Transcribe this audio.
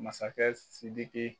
Masakɛ sidiki